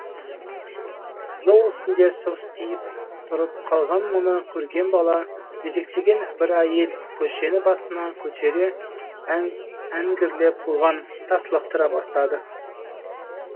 жол үстінде состиып тұрып қалған мұны көрген бала жетектеген бір әйел көшені басына көтере әңгірлеп бұған тас лақтыра бастады